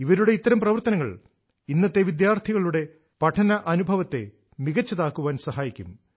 ഇവരുടെ ഇത്തരംപ്രവർത്തനങ്ങൾ ഇന്നത്തെ വിദ്യാർഥികളുടെ പഠന അനുഭവത്തെ മികച്ചതാക്കാൻ സഹായിക്കും